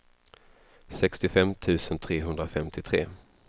sextiofem tusen trehundrafemtiotre